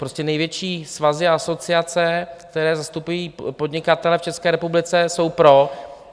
Prostě největší svazy a asociace, které zastupují podnikatele v České republice, jsou pro.